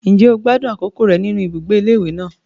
Ǹjẹ́ o gbádùn àkókò rẹ nínú ibùgbé ilé ìwé náà?